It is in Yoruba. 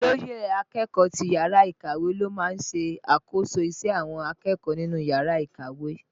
Olóyè akẹ́kọ̀ọ́ ti yàrá ìkàwé ló máa ń ṣe àkóso ìṣe àwọn akẹ́kọ̀ọ́ nínú yàrá ìkàwé